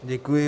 Děkuji.